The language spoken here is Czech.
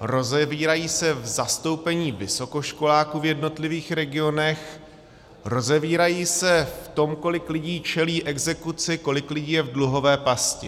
rozevírají se v zastoupení vysokoškoláků v jednotlivých regionech, rozevírají se v tom, kolik lidí čelí exekuci, kolik lidí je v dluhové pasti.